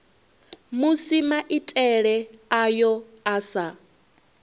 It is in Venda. musi maitele ayo a sa